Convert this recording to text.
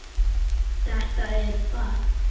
Þetta er fag.